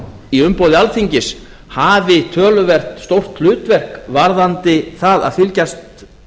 í umboði alþingis hafi töluvert stórt hlutverk varðandi það að fylgjast